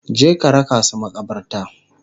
Je ka raka su maƙabarta!